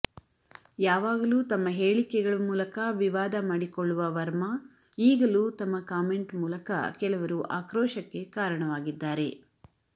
ಯಾವಾಗಲೂ ತಮ್ಮ ಹೇಳಿಕೆಗಳು ಮೂಲಕ ವಿವಾದ ಮಾಡಿಕೊಳ್ಳುವ ವರ್ಮ ಈಗಲೂ ತಮ್ಮ ಕಾಮೆಂಟ್ ಮೂಲಕ ಕೆಲವರು ಆಕ್ರೋಶಕ್ಕೆ ಕಾರಣವಾಗಿದ್ದಾರೆ